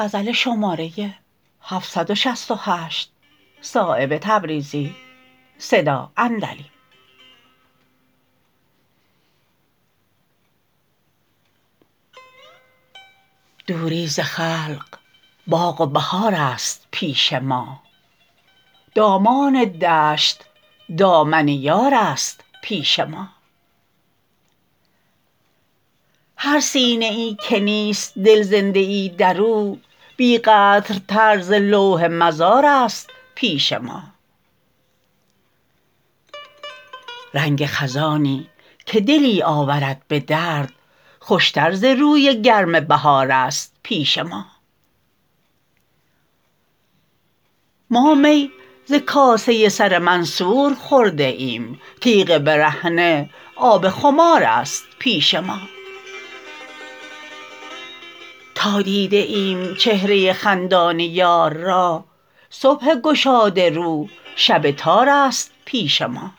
دوری ز خلق باغ و بهارست پیش ما دامان دشت دامن یارست پیش ما هر سینه ای که نیست دل زنده ای در او بی قدرتر ز لوح مزارست پیش ما رنگ خزانیی که دلی آورد به درد خوشتر ز روی گرم بهارست پیش ما ما می ز کاسه سر منصور خورده ایم تیغ برهنه آب خمارست پیش ما تا دیده ایم چهره خندان یار را صبح گشاده رو شب تارست پیش ما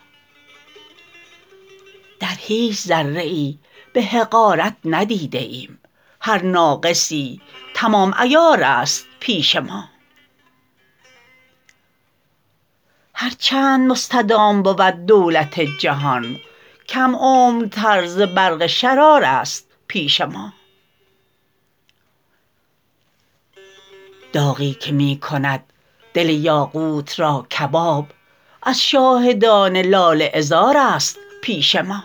در هیچ ذره ای به حقارت ندیده ایم هر ناقصی تمام عیارست پیش ما هر چند مستدام بود دولت جهان کم عمرتر ز برق شرارست پیش ما داغی که می کند دل یاقوت را کباب از شاهدان لاله عذارست پیش ما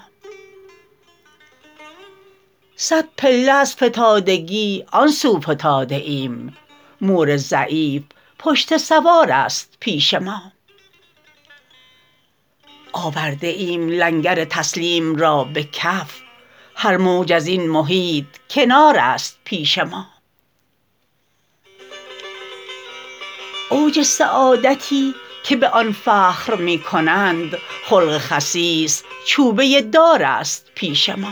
صد پله از فتادگی آن سو فتاده ایم مور ضعیف پشته سوارست پیش ما آورده ایم لنگر تسلیم را به کف هر موج ازین محیط کنارست پیش ما اوج سعادتی که به آن فخر می کنند خلق خسیس چوبه دارست پیش ما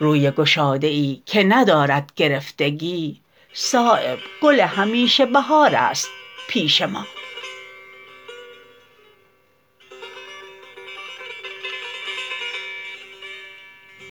روی گشاده ای که ندارد گرفتگی صایب گل همیشه بهارست پیش ما